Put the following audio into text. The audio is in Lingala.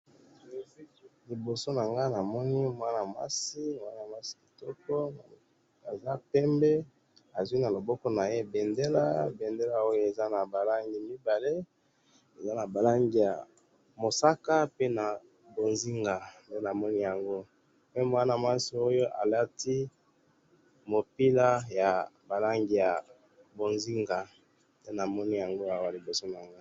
liboso na ngai namoni mwana mwasi kitoko azapembe azui na loboko naye bendele eza naba langi mibale eza naba langi ya masaka pe na bozinga pe mwana mwasi oyo alati mupila yaba langi ya bozinga